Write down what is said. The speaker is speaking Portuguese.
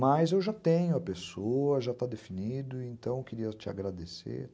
Mas eu já tenho a pessoa, já está definido, então eu queria te agradecer.